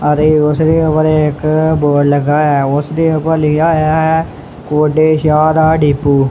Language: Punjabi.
ਔਰ ਇਹ ਉਸਦੇ ਉੱਪਰ ਇੱਕ ਬੋਡ ਲੱਗਿਆ ਹੋਇਆ ਐ ਉਸਦੇ ਉੱਪਰ ਲਿਖਿਆ ਹੋਇਆ ਐ ਗੋਡੇ ਸ਼ਾਹ ਦਾ ਡੀਪੂ।